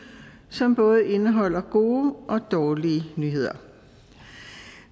som både indeholder gode og dårlige nyheder